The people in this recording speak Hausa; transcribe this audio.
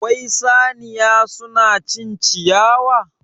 Wai saniya suna cin ciyawa?